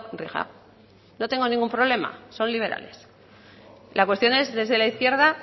rija no tengo ningún problema son liberales la cuestión es desde la izquierda